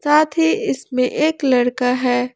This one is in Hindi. साथ ही इसमें एक लड़का है।